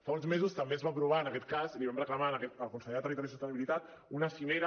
fa uns mesos també es va aprovar en aquest cas l’hi vam reclamar al conseller de territori i sostenibilitat una cimera